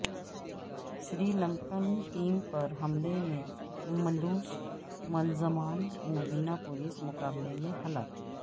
سری Lankan team پر حملے میں ملوث ملزمان مبینہ پولیس مقابلے میں ہلاک